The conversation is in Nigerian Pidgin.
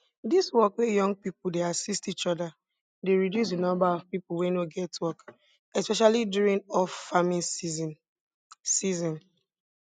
dis work wey young people dey assist each other dey reduce di number of people wey no get work especially during offfarming season season